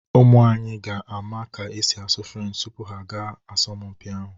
Ụmụ anyị ga-ama ka e si asụ Frenchị tupu ha agawa asọmpi ahụ.